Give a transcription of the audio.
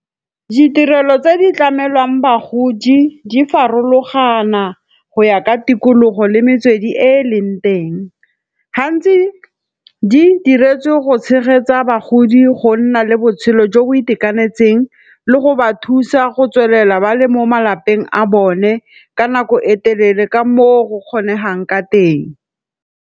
Ditirelo tse di tlamelwang bagodi di farologana go ya ka tikologo le metswedi e e leng teng. Gantsi di diretswe go tshegetsa bagodi go nna le botshelo jo bo itekanetseng le go ba thusa go tswelela ba le mo malapeng a bone ka nako e telele ka moo go kgonegang ka teng.